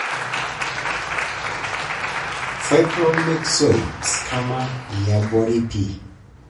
fibromyxoid sarcoma yiabori pii